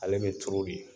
Ale bɛ turu de